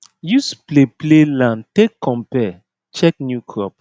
use play play land take compare check new crop